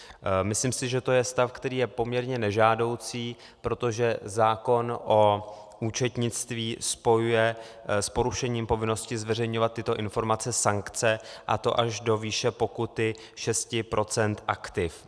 Myslím si, že to je stav, který je poměrně nežádoucí, protože zákon o účetnictví spojuje s porušením povinnosti zveřejňovat tyto informace sankce, a to až do výše pokuty 6 % aktiv.